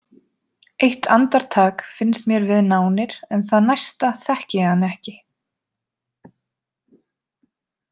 Eitt andartak finnst mér við nánir en það næsta þekki ég hann ekki.